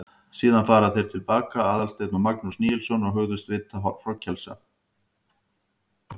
Síðan fara þeir til baka, Aðalsteinn og Magnús Níelsson, og hugðust vitja hrognkelsa.